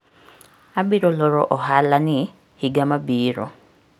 Abiro loro ohalani higa mabiro.